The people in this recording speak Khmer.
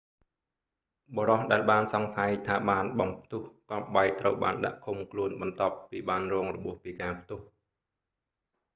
បុរសដែលបានសង្ស័យថាបានបំផ្ទុះគ្រាប់បែកត្រូវបានដាក់ឃុំខ្លួនបន្ទាប់ពីបានរងរបួសពីការផ្ទុះ